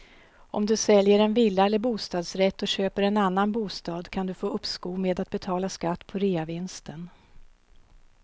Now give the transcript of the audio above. Om du säljer en villa eller bostadsrätt och köper en annan bostad kan du få uppskov med att betala skatt på reavinsten.